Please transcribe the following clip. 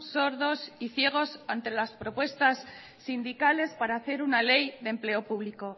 sordos y ciegos ante las propuestas sindicales para hacer una ley de empleo público